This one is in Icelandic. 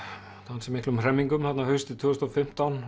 ansi miklum hremmingum haustið tvö þúsund og fimmtán